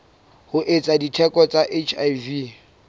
ho etsa diteko tsa hiv